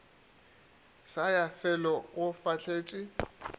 sa ya felo o fahletše